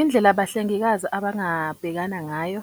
Indlela abahlengikazi abangabhekana ngayo